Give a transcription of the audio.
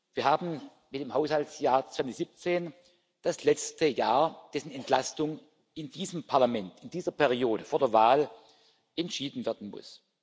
Wir haben im Haushaltsjahr 2017 das letzte Jahr, dessen Entlastung in diesem Parlament, in dieser Periode vor der Wahl entschieden werden muss.